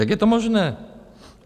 Jak je to možné?